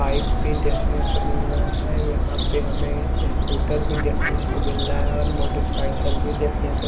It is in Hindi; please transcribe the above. पाइप भी देखने को मिल रहा है यहाँ पर हमे स्कूटर भी देखने को मिल रहा है और मोटरसाइकिल भी देखने को--